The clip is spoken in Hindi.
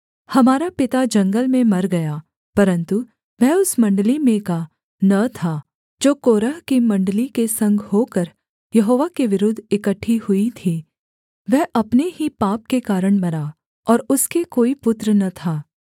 हमारा पिता जंगल में मर गया परन्तु वह उस मण्डली में का न था जो कोरह की मण्डली के संग होकर यहोवा के विरुद्ध इकट्ठी हुई थी वह अपने ही पाप के कारण मरा और उसके कोई पुत्र न था